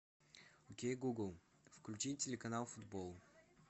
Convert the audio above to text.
окей гугл включи телеканал футбол